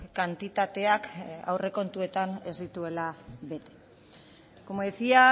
kantitateak aurrekontuetan ez dituela bete como decía